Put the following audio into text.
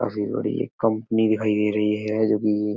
काफी बड़ी ये कंपनी दिखाई दे रही है जो कि --